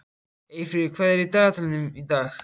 Eyfríður, hvað er í dagatalinu í dag?